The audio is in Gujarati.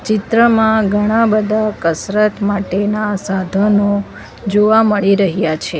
ચિત્રમાં ઘણા બધા કસરત માટેના સાધનો જોવા મળી રહયા છે.